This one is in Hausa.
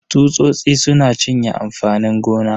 Tsusosi suna cinye amfanin gona.